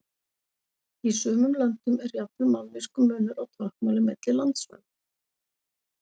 Í sumum löndum er jafnvel mállýskumunur á táknmáli milli landsvæða.